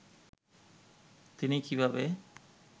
তিনি কীভাবে